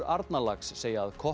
Arnarlax segja að